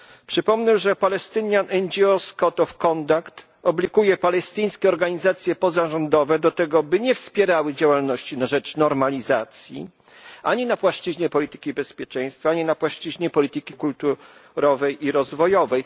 Przypomnę, że Palestinian NGOs Code of Conduct obliguje palestyńskie organizacje pozarządowe do tego, by nie wspierały działalności na rzecz normalizacji ani na płaszczyźnie polityki bezpieczeństwa, ani na płaszczyźnie polityki kulturowej i rozwojowej.